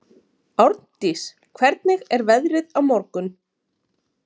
Árndís, hvernig er veðrið á morgun?